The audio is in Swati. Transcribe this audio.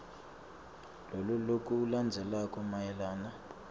loku lokulandzelako mayelana